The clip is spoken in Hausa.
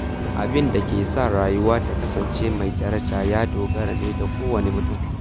Abin da ke sa rayuwa ta kasance mai daraja ya dogara ne da kowane mutum.